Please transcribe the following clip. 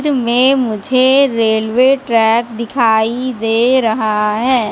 मे मुझे railway track दिखाई दे रहा है।